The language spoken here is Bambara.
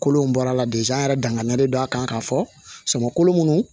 Kolo in bɔra de sa an yɛrɛ danganiyalen don a kan k'a fɔ samako minnu